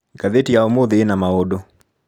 Ngathĩti ya ũmũthĩ ĩna maũndũ.